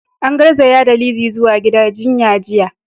An garzaya da Lizzy zuwa gidan jinya jiya.